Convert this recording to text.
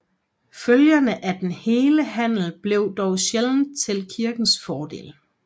Følgerne af den hele handel blev dog sjældent til kirkens fordel